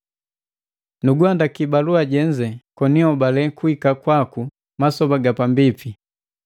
Nuguhandaki balua jenze koni hobale kuhika kwaku masoba ga pambipi.